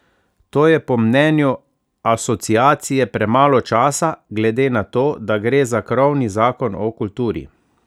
To je po mnenju Asociacije premalo časa, glede na to, da gre za krovni zakon o kulturi.